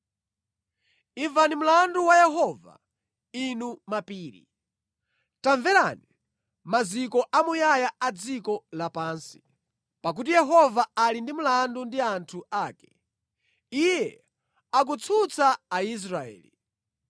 Imvani mlandu wa Yehova, inu mapiri; tamverani, maziko amuyaya a dziko lapansi. Pakuti Yehova ali ndi mlandu ndi anthu ake; Iye akutsutsa Aisraeli.